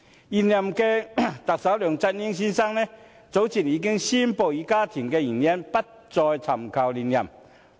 現任特首梁振英先生，早前以家庭原因，宣布不再尋求連任。